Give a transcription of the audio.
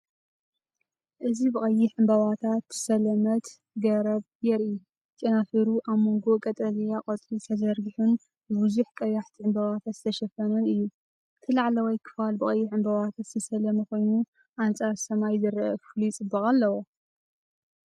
እዚ ብቐይሕ ዕምባባታት ዝተሰለመት ገረብ የርኢ። ጨናፍሩ ኣብ መንጎ ቀጠልያ ቆጽሊ ተዘርጊሑን ብብዙሓት ቀያሕቲ ዕምባባታት ዝተሸፈነን እዩ። እቲ ላዕለዋይ ክፋል ብቐይሕ ዕምባባታት ዝተሰለመ ኮይኑ ኣንጻር ሰማይ ዝረአ ፍሉይ ጽባቐ ኣለዎ።